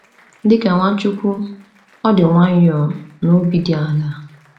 Dị ka Nwachukwu, ọ dị nwayọọ na obi dị ala.